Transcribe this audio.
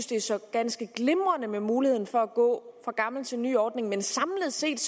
det er så ganske glimrende med muligheden for at gå fra gammel til ny ordning men samlet set